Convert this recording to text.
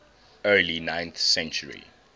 early ninth century